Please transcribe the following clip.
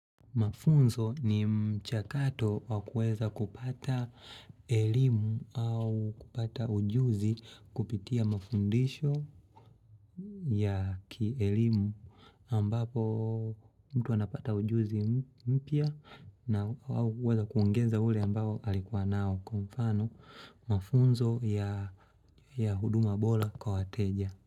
Mafunzo ni mchakato wakuweza kupata elimu au kupata ujuzi kupitia mafundisho ya kielimu ambapo mtu anapata ujuzi mpya na waao kuweza kuongeza ule ambao alikuwa nao kwa mfano mafunzo ya huduma bora kwa wateja.